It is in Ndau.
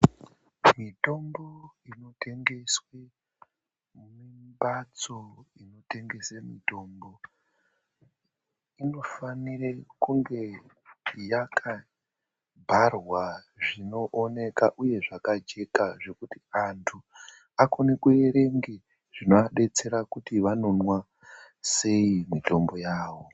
Mitombo inotengeswe mumphatso inotengese mitombo. Inofanire kunge yakabharwa zvinooneka uye zvakajeka zvekuti antu anokone kuerenge zvinoabetsera kuti vanonmwa sei mitombo yavo.